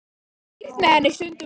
Stýrt með henni stundum var.